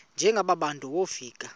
njengaba bantu wofika